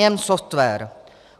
Nejen software.